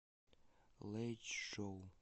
лэйчжоу